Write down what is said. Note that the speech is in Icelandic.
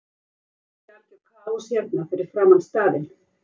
Myndast ekki algjör kaos hérna fyrir framan staðinn?